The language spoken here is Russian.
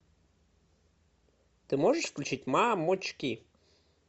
ты можешь включить мамочки